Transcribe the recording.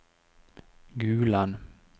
Gulen